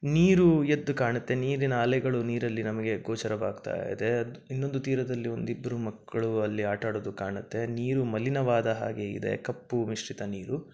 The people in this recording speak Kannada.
ನೀರು ಎದ್ದು ಕಾಣತ್ತೆ. ನೀರಿ ಅಲೆಗಳು ನೀರಲ್ಲಿ ನಮಗೆ ಗೋಚಾರವಾಗ್ತಾಯಿದೆ. ಇನ್ನೋಂದು ತೀರಾದಲ್ಲಿ ಒಂದಿಬ್ರು ಮಕ್ಕಳು ಅಲ್ಲಿ ಆಟ ಆಡೋದು ಕಾಣತ್ತೆ. ನೀರು ಮಲೀನವಾದ ಹಾಗೆ ಇದೆ ಕಪ್ಪು ಮಿಶ್ರಿತ ನೀರು.